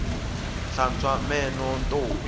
hlantswa meno ntombi